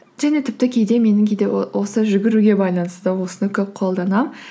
және тіпті кейде менің кейде осы жүгіруге байланысты да осыны көп қолданамын